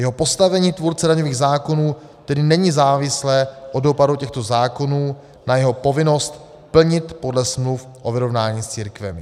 Jeho postavení tvůrce daňových zákonů tedy není závislé od dopadu těchto zákonů na jeho povinnost plnit podle smluv o vyrovnáními s církvemi.